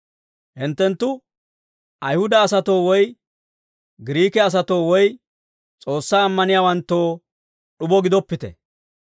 Hinttenttu Ayihuda asatoo woy Giriike asatoo woy S'oossaa ammaniyaawanttoo d'ubo gidoppite.